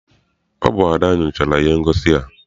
Ọ bụ Ada nyochara ihe ngosi a.